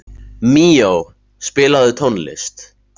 Míó, spilaðu tónlist.